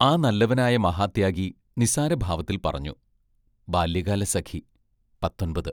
ആ നല്ലവനായ മഹാത്യാഗി നിസ്സാരഭാവത്തിൽ പറഞ്ഞു: ബാല്യകാലസഖി പത്തൊൻപത്